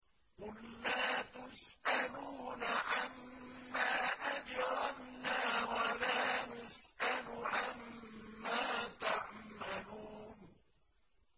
قُل لَّا تُسْأَلُونَ عَمَّا أَجْرَمْنَا وَلَا نُسْأَلُ عَمَّا تَعْمَلُونَ